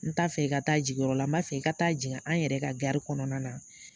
N t'a fɛ i ka taa jigiyɔrɔ la n b'a fɛ i ka taa jigini an yɛrɛ ka kɔnɔna na